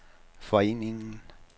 foreningen